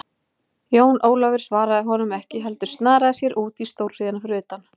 Jón Ólafur svaraði honum ekki heldur snaraði sér út í stórhríðina fyrir utan.